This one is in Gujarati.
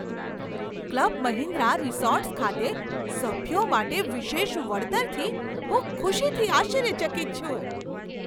ક્લબ મહિન્દ્રા રિસોર્ટ્સ ખાતે સભ્યો માટે વિશેષ વળતરથી હું ખુશીથી આશ્ચર્યચકિત છું.